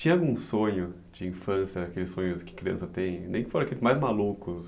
Tinha algum sonho de infância, aqueles sonhos que criança tem, nem que foram aqueles mais malucos,